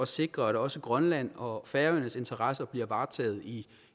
sikre at også grønland og færøernes interesser bliver varetaget i